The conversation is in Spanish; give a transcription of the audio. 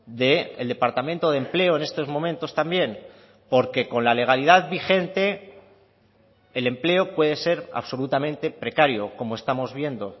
del departamento de empleo en estos momentos también porque con la legalidad vigente el empleo puede ser absolutamente precario como estamos viendo